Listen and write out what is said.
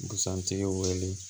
Busan tigi wele